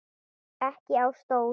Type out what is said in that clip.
Ekki á stól.